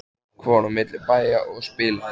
Fólk fór á milli bæja og spilaði.